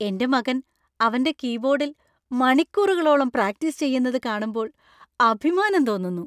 എൻ്റെ മകൻ അവൻ്റെ കീബോർഡിൽ മണിക്കൂറുകളോളം പ്രാക്ടീസ് ചെയ്യുന്നത് കാണുമ്പോൾ അഭിമാനം തോന്നുന്നു.